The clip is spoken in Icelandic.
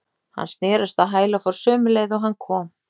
Hann snerist á hæl og fór sömu leið og hann kom.